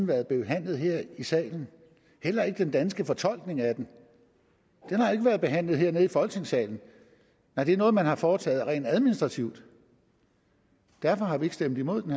været behandlet her i salen heller ikke den danske fortolkning af den den har ikke været behandlet hernede i folketingssalen nej det er noget man har foretaget rent administrativt derfor har vi ikke stemt imod den